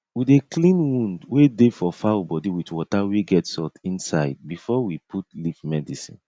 we dey clean wound wey dey for fowl body with water wey get salt inside before we put leaf medicine